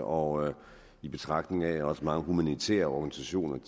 og i betragtning af at også mange humanitære organisationer